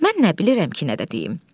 Mən nə bilirəm ki, nə də deyim.